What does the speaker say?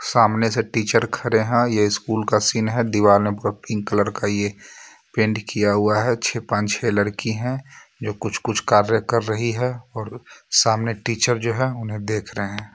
सामने से टीचर खड़े हैं यह स्कूल का सीन है दीवाने पर पिंक कलर का यह पेंट किया हुआ है छह पांच छह लड़की हैं जो कुछ-कुछ कार्य कर रही है और सामने टीचर जो है उन्हें देख रहे हैं.